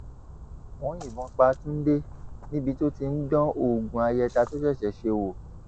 wọn yìnbọn pa túnde níbi tó ti ń dán oògùn ayẹta tó ṣẹṣẹ ṣe wò